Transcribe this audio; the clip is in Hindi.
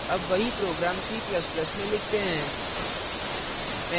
अब वही program c ++ में लिखते हैं